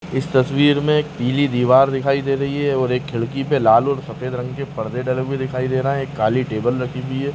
इस तस्वीर में एक पीली दिवार दिखाई दे रही है और एक खिड़की पे लाल और सफ़ेद रंग के परदे डले हुए दिखाई दे रहे हैं एक काली टेबल रखी हुई है।